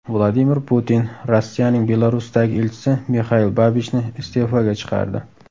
Vladimir Putin Rossiyaning Belarusdagi elchisi Mixail Babichni iste’foga chiqardi.